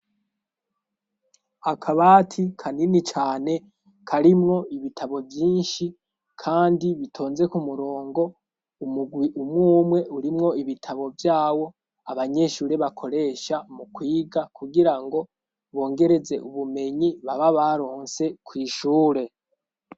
Akabati kanini cane karimwo ibitabo vyinshi, kandi bitonze ku murongo umugwi umwumwe urimwo ibitabo vyawo abanyeshure bakoresha mu kwiga kugira ngo bongereze ubumenyi baba baronse kwishure.